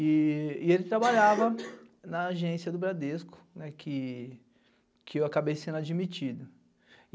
E ele trabalhava na agência do Bradesco, que eu acabei sendo admitido.